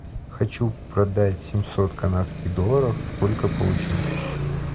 хочу продать семьсот канадских долларов сколько получу